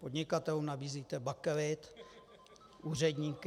Podnikatelům nabízíte bakelit, úředníky...